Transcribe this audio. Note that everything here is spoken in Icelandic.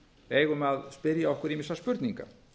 eigum að spyrja okkur ýmissa spurninga